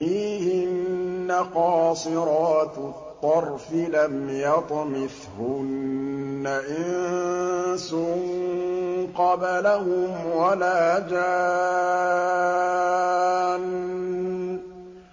فِيهِنَّ قَاصِرَاتُ الطَّرْفِ لَمْ يَطْمِثْهُنَّ إِنسٌ قَبْلَهُمْ وَلَا جَانٌّ